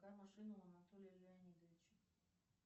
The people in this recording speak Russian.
какая машина у анатолия леонидовича